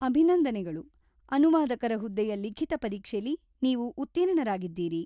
ಅಭಿನಂದನೆಗಳು! ಅನುವಾದಕರ ಹುದ್ದೆಯ ಲಿಖಿತ ಪರೀಕ್ಷೆಲಿ ನೀವು ಉತ್ತೀರ್ಣರಾಗಿದ್ದೀರಿ.